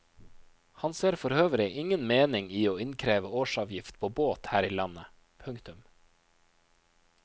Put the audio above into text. Han ser forøvrig ingen mening i å innkreve årsavgift på båt her i landet. punktum